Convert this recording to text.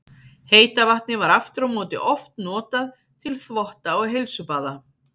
Heita vatnið var aftur á móti oft notað til þvotta og heilsubaða.